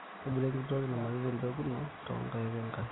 ntobira enkiti toki namanita embeku ino too nkaik we nkare